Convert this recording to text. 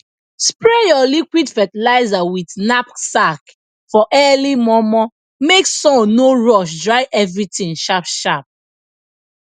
spray your liquid fertilizer with knapsack for early momo make sun no rush dry everything sharp sharp